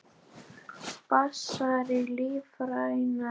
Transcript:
Basar og lífrænar smákökur